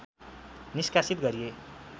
निष्कासित गरिए